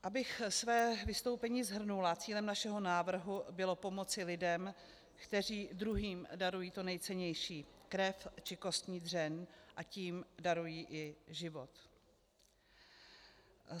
Abych své vystoupení shrnula, cílem našeho návrhu bylo pomoci lidem, kteří druhým darují to nejcennější, krev či kostní dřeň, a tím darují i život.